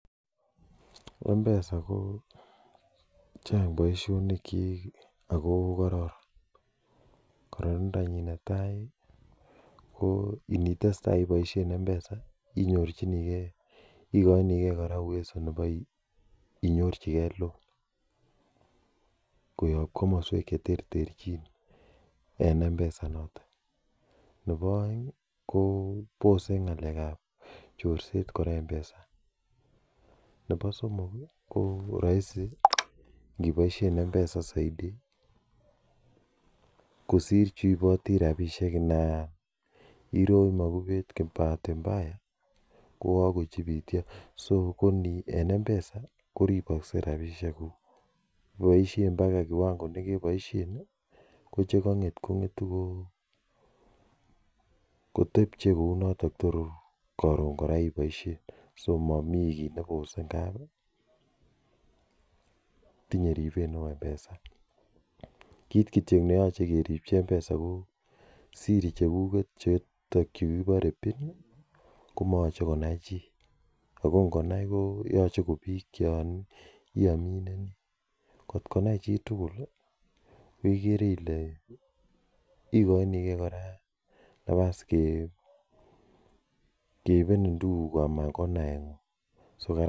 Mpesa ko Chang boisionik chik Ako kararan. Kararanindo nyin netai ko initesetai ibaishen mpesa, ko ko nebo inyorchikee loan koyab kamasuek cheterterchin en mpesa inoton nebo aeng kobose ng'alekab chorset kora mpesa. Nebo somok ih ko rahisi ingibaisien mpesa saiti kosir cheiboti rabisiek ndairoch magubet bahati mbaya kokakochibityo en mpesa koripakse rabisiek kuk. Ako ibaisien baka kiwango kon'etu kotebie kou noton tor karon kora ibaishen tinye ribset neoo mpesa kit kityo neyache keribyi mpesa ko Siri chekuket chekibore pin komayache konai chi ako ngonai koyache ko bik chon iamineniatkonai chitugul igere Ile ikoinige nafas ke keibenin tuguk kuk Anan ko naet ng'ung